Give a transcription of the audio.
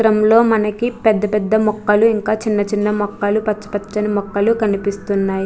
ఈ చిత్రం లో మనకి పెద్ద పెద్ద మొక్కలు ఇంకా చిన్న చిన్న మొక్కలు పచ్చ పచ్చని మొక్కలు కనిపిస్తున్నాయి.